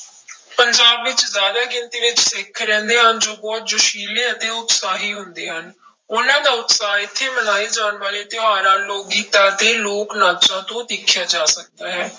ਪੰਜਾਬ ਵਿੱਚ ਜ਼ਿਆਦਾ ਗਿਣਤੀ ਵਿੱਚ ਸਿੱਖ ਰਹਿੰਦੇ ਹਨ ਜੋ ਬਹੁਤ ਜੋਸ਼ਿਲੇ ਅਤੇ ਉਤਸ਼ਾਹੀ ਹੁੰਦੇ ਹਨ, ਉਹਨਾਂ ਦਾ ਉਤਸ਼ਾਹ ਇੱਥੇ ਮਨਾਏ ਜਾਣ ਵਾਲੇ ਤਿਉਹਾਰਾਂ, ਲੋਕ ਗੀਤਾਂ ਅਤੇ ਲੋਕ ਨਾਚਾਂ ਤੋਂ ਦੇਖਿਆ ਜਾ ਸਕਦਾ ਹੈ।